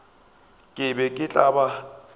ke be ke tla ba